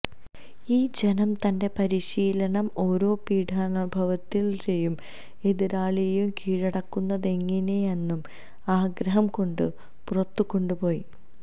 ഈ ജനം തന്റെ പരിശീലനം ഓരോ പീഢാനുഭവത്തിൻറെയും എതിരാളിയെ കീഴടക്കുന്നതെങ്ങിനെയെന്നും ആഗ്രഹം കൊണ്ട് പുറത്തു കൊണ്ടുപോയി